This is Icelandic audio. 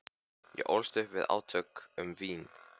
Ég ólst upp við átök um vín.